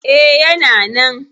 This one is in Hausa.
E, yana nan.